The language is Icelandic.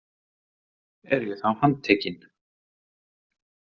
Er ég þá handtekinn?